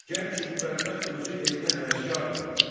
Gər ki, bu bədbəxt özü elmə həvəskardır.